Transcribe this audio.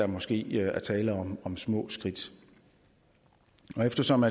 måske er der tale om små skridt eftersom